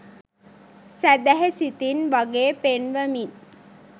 සැදැහි සිතින් වගේ පෙන්වමින්